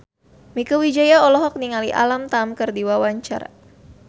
Mieke Wijaya olohok ningali Alam Tam keur diwawancara